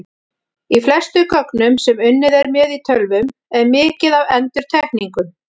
Í flestum gögnum sem unnið er með í tölvum er mikið af endurtekningum.